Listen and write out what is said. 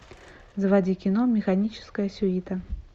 заводи кино механическая сюита